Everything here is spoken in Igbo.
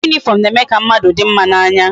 Uwe uniform na eme ka mmadu di mma na anya